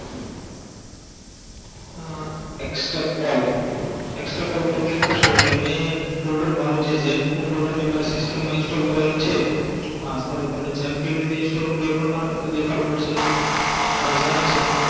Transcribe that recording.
અ click કરસું એટલે એટલે મે folder મારુ જે jump folder જે મારી system માં install કરેલું છે હા sorry તમને jump કેવી રીતે install કરવું એ પણ મારે તમને દેખાડવું પડસે તો આ jump છે